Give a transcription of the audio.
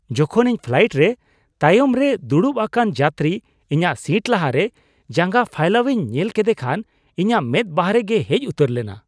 ᱡᱚᱠᱷᱚᱱ ᱤᱧ ᱯᱷᱞᱟᱭᱤᱴ ᱨᱮ ᱛᱟᱭᱚᱢ ᱨᱮ ᱫᱩᱲᱩᱲᱵ ᱟᱠᱟᱱ ᱡᱟᱹᱛᱨᱤ ᱤᱧᱟᱹᱜ ᱥᱤᱴ ᱞᱟᱦᱟᱨᱮ ᱡᱟᱸᱜᱟ ᱯᱷᱟᱭᱞᱟᱣ ᱤᱧ ᱧᱮᱞ ᱠᱮᱫᱮ ᱠᱷᱟᱱ ᱤᱧᱟᱹᱜ ᱢᱮᱫ ᱵᱟᱨᱦᱮ ᱜᱮ ᱦᱮᱡ ᱩᱛᱟᱹᱨ ᱞᱮᱱᱟ ᱾